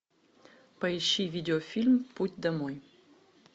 поищи видеофильм путь домой